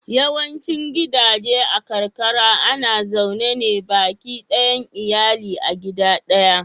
Yawaicin gidaje a karkara ana zaune ne baki ɗayan iyali a gida ɗaya.